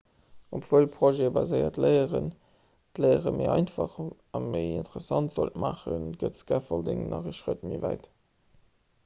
obwuel projetbaséiert léieren d'léiere méi einfach a méi interessant sollt maachen geet scaffolding nach ee schrëtt méi wäit